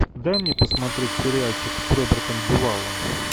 дай мне посмотреть сериальчик с робертом дюваллом